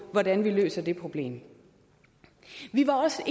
hvordan vi løser det problem vi var også